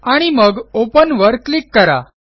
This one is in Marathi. आणि मग Openवर क्लिक करा